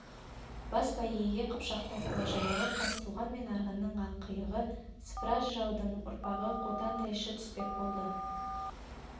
бас бәйгеге қыпшақтың ұлы жырауы қазтуған мен арғынның ақиығы сыпыра жыраудың ұрпағы қотан тайшы түспек болды